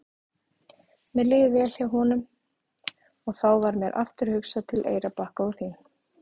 Mér líður vel hjá honum og þá varð mér aftur hugsað til Eyrarbakka og þín.